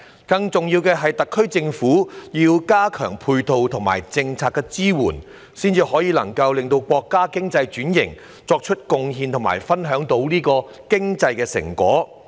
更重要的是，特區政府要加強配套和政策支援，才能夠為國家經濟轉型作出貢獻和分享經濟成果。